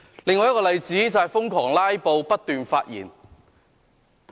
另一個例子，是瘋狂"拉布"，不斷發言。